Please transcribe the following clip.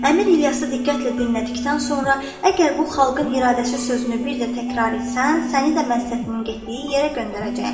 Əmir İlyası diqqətlə dinlədikdən sonra, əgər bu xalqın iradəsi sözünü bir də təkrar etsən, səni də Məhsətinin getdiyi yerə göndərəcəyəm.